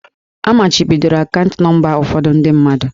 A machibidoro akaụntụ nọmba ụfọdụ ndị mmadụ.